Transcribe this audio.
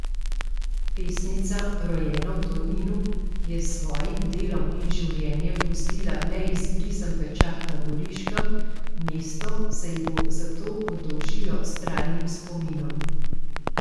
Pesnica, rojena v Tolminu, je s svojim delom in življenjem pustila neizbrisen pečat na Goriškem, mesto se ji bo zato oddolžilo s trajnim spominom.